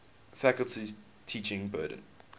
faculty's teaching burden